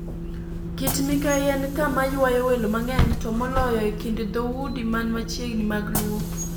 Kit-Mikayi en kama ywayo welo mang'eny, to moloyo e kind dhoudi man machiegni mag Luo.